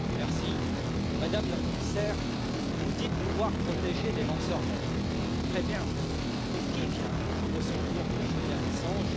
Madame la Présidente, Madame la Commissaire, vous dites vouloir protéger les lanceurs d'alerte. Très bien. Mais qui vient au secours de Julian Assange?